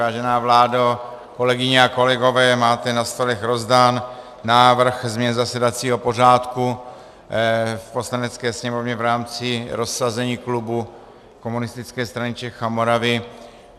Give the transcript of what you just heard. Vážená vládo, kolegyně a kolegové, máte na stolech rozdán návrh změn zasedacího pořádku v Poslanecké sněmovně v rámci rozsazení klubu Komunistické strany Čech a Moravy.